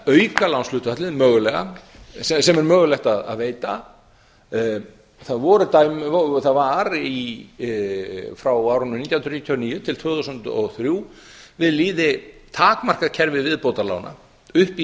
auka lánshlutfall mögulega sem er mögulegt að veita það var frá árinu nítján hundruð níutíu og níu til tvö þúsund og þrjú við lýði takmarkað kerfi viðbótarlána upp í